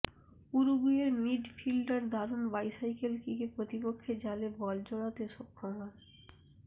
উরুগুয়ের মিডফিল্ডার দারুণ বাইসাইকেল কিকে প্রতিপক্ষের জালে বল জড়াতে সক্ষম হন